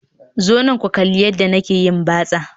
Zo nan ku kalli yadda nake yin batsa